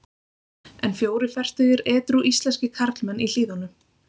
En fjórir fertugir edrú íslenskir karlmenn í Hlíðunum.